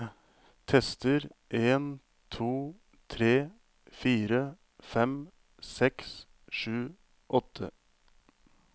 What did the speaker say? Tester en to tre fire fem seks sju åtte